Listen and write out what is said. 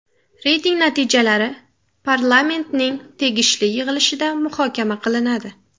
Reyting natijalari Parlamentning tegishli yig‘ilishida muhokama qilinadi.